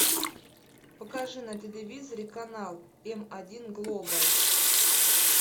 покажи на телевизоре канал м один глобал